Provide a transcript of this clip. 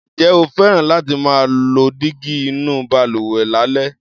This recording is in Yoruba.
Ǹjẹ́ o fẹ́ràn láti máa lo dígí inú balùwẹ̀ lálẹ́?